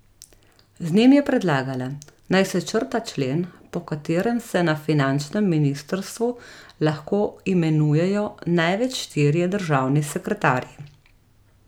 Z njim je predlagala, naj se črta člen, po katerem se na finančnem ministrstvu lahko imenujejo največ štirje državni sekretarji.